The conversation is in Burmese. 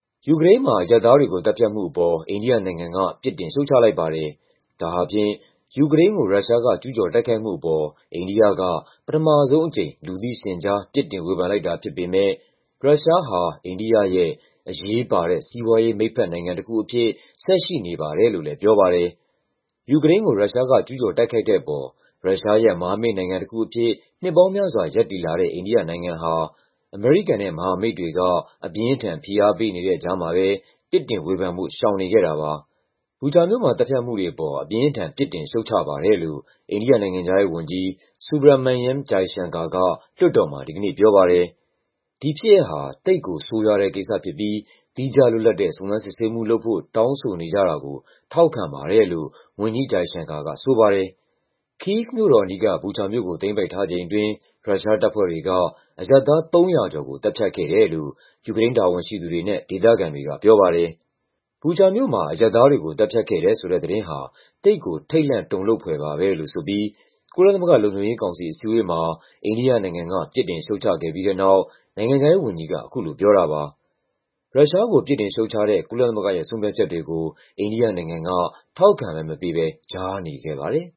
ယူကရိန်းမှာ အရပ်သားတွေကိုသတ်ဖြတ်မှုအပေါ် အိန္ဒိယနိုင်ငံက ပြစ်တင် ရှုတ်ချလိုက်ပါတယ်။ ဒါဟာဖြင့် ယူကရိန်းကို ရုရှားက ကျူးကျော်တိုက်ခိုက်မှုအပေါ် အိန္ဒိယက ပထမဆုံးအကြိမ် လူသိရှင်ကြား ပြစ်တင်ဝေဖန်လိုက်တာဖြစ်ပေမယ့် ရုရှားဟာ အိန္ဒိယရဲ့အရေးပါတဲ့ စီးပွားရေးမိတ်ဘက်နိုင်ငံတခုအဖြစ် ဆက်ရှိနေပါတယ်လို့လည်း ပြောပါတယ်။ ယူကရိန်းကို ရုရှားကကျူးကျော်တိုက်ခိုက်တဲ့အပေါ် ရုရှားရဲ့မဟာမိတ်နိုင်ငံတခုအဖြစ် နှစ်ပေါင်းများစွာ ရပ်တည်လာတဲ့ အိန္ဒိနိုင်ငံဟာ အမေရိကန်နဲ့ မဟာမိတ်တွေက အပြင်းအထန် ဖိအားပေးနေတဲ့ကြားမှာပဲ ပြစ်တင်ဝေဖန်ဖို့ ရှောင်နေခဲ့တာပါ။ “Bucha မြို့မှာ သတ်ဖြတ်မှုတွေအပေါ် အပြင်းအထန် ပြစ်တင်ရှုတ်ချပါတယ်” လို့ အိန္ဒိယနိုင်ငံခြားရေးဝန်ကြီး Subramanyam Jaishankar က လွှတ်တော်မှာ ဒီကနေ့ပြောပါတယ်။ “ဒီဖြစ်ရပ်ဟာ သိပ်ကိုဆိုးရွားတဲ့ကိစ္စဖြစ်ပြီး သီးခြားလွတ်လပ်တဲ့ စုံစမ်း စစ်ဆေးမှုလုပ်ဖို့ တောင်းဆိုနေကြတာကို ထောက်ခံပါတယ်” လို့ ဝန်ကြီး Jaishankar ကဆိုပါတယ်။ ကိဗ်မြို့တော်အနီးက Bucha မြို့ကို သိမ်းပိုက်ထားချိန်အတွင်း ရုရှားတပ်ဖွဲ့တွေက အရပ်သား ၃၀၀ ကျော်ကို သတ်ဖြတ်ခဲ့တယ်လို့ ယူကရိန်းတာဝန်ရှိသူတွေနဲ့ ဒေသခံတွေကပြောပါတယ်။ Bucha မြို့မှာ အရပ်သားတွေကို သတ်ဖြတ်ခဲ့တယ်ဆိုတဲ့သတင်းဟာ “သိပ်ကို ထိတ်လန့်တုန်လှုပ်” ဖွယ်ပါပဲလို့ဆိုပြီး ကုလသမဂ္ဂ လုံခြုံရေးကောင်စီ အစည်းအဝေးမှာ အိန္ဒိယနိုင်ငံက ပြစ်တင်ရှုတ်ချခဲ့ပြီးတဲ့နောက် နိုင်ငံခြားရေးဝန်ကြီးက အခုလိုပြောတာပါ။ ရုရှားကို ပြစ်တင်ရှုတ်ချတဲ့ ကုလသမဂ္ဂရဲ့ ဆုံးဖြတ်ချက်တွေကို အိန္ဒိယနိုင်ငံက ထောက်ခံမဲမပေးဘဲ ကြားနေခဲ့ပါတယ်။